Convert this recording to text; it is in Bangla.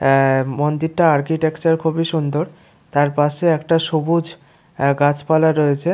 অ্যা-আ মন্দিরটার আর্কিটেকচার খুবই সুন্দর । তার পাশে একটা সবুজ আ গাছপালা রয়েছে।